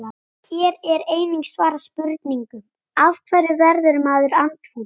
Hér er einnig svarað spurningunum: Af hverju verður maður andfúll?